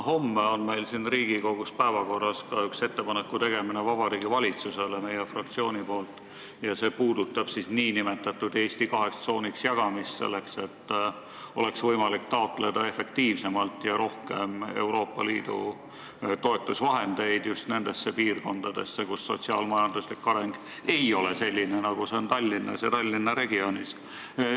Homme on meil siin Riigikogus päevakorras ka üks ettepaneku tegemine Vabariigi Valitsusele meie fraktsiooni nimel, see puudutab Eesti jagamist n-ö kaheks tsooniks, et oleks võimalik taotleda efektiivsemalt ja rohkem Euroopa Liidu toetusvahendeid just nendesse piirkondadesse, kus sotsiaal-majanduslik areng ei ole selline, nagu see on Tallinnas ja Tallinna regioonis.